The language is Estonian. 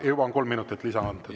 Aa, juba on kolm minutit lisa antud.